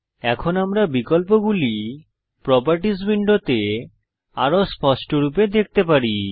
এখন আমরা বিকল্পগুলি প্রোপার্টিস উইন্ডোতে আরও স্পষ্টরূপে দেখতে পারি